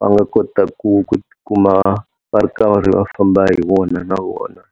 va nga kota ku ku ti kuma va ri karhi va famba hi wona na vona.